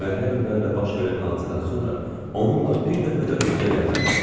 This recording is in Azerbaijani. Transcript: Vurmer heyəmlərlə baş verən hadisədən sonra onunla bir dəfə də üz-üzə gəlməmişdim.